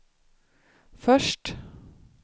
först